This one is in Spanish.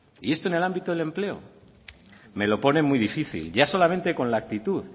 y esto en el ámbito del empleo me lo pone muy difícil ya solamente con la actitud